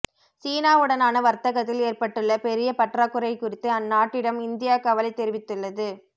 சீனாவுடனான வர்த்தகத்தில் ஏற்பட்டுள்ள பெரிய பற்றாக்குறை குறித்து அந்நாட்டிடம் இந்தியா கவலை தெரிவித்துள்ளது